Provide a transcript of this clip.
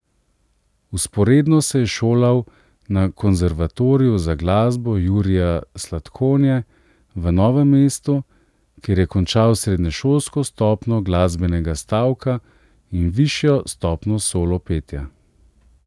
Vzporedno se je šolal na Konservatoriju za glasbo Jurija Slatkonje v Novem mestu, kjer je končal srednješolsko stopnjo glasbenega stavka in višjo stopnjo solo petja.